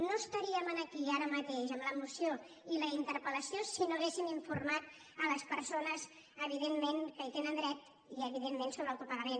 no estaríem aquí ara mateix amb la moció i la interpelmat les persones evidentment que hi tenen dret i evidentment sobre el copagament